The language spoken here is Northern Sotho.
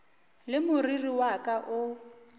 le moriri wa ka o